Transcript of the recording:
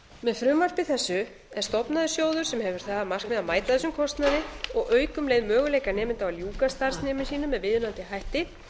með frumvarpi þessu er stofnaður sjóður sem hefur það að markmiði að mæta þessum kostnaði og auka um leið möguleika nemenda á að ljúka starfsnámi sínu með viðunandi hætti